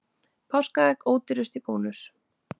Páskaegg ódýrust í Bónus